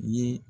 Ye